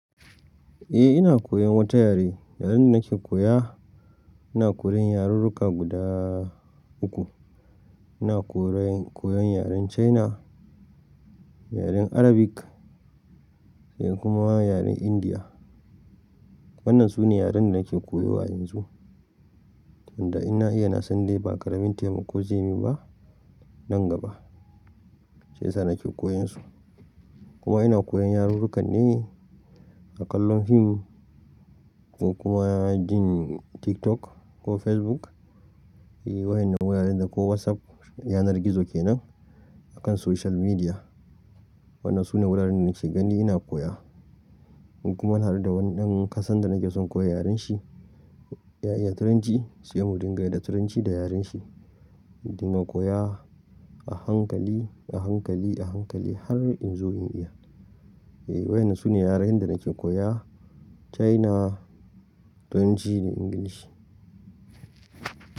Eh ina koyan wata yare, yaren da nake koya ina koyan yarurruka guda uku. Ina koyan yaren China, yaren Arabic sai kuma yaren India. Wannan sune yaren da nake koyo a yanzu, sanda in na iya na san dai ba ƙaramin taimako za yi min ba nan gaba. Shi yasa nake koyan su. Kuma ina koyan yarurruka ne a ƙallon fim ko kuma jin TikTok ko Facebook. Eh wayen nan wuraren da ko WhatsApp yanar gizo kenan a kan social media. Waɗannan sune wuraren da nake gani ina koya. Kuma har da wani ɗan ƙasan da nake son koya yaren shi, ya iya Turanci sai mu dinga da Turanci da yaren shi. Mu dinga koya a hankali, a hankali, a hankali har in zo in iya. Eh waɗannan sune yararen da nake koya China, Turanci da Ingilishi.